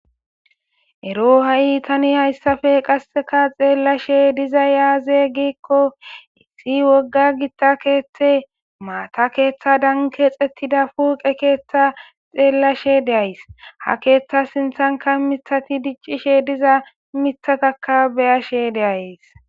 Ero tani qaseka hayisape xelashe dizayis aze giiko issi woga gitta kethe mata kethadanika kexetida huphe ketha xelashe de'ayis ha ketha sinithanika dicishe de'ay mithata be'ashe de'ays